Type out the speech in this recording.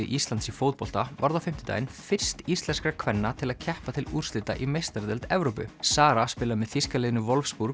Íslands í fótbolta varð á fimmtudaginn fyrst íslenskra kvenna til að keppa til úrslita í meistaradeild Evrópu Sara spilar með þýska liðinu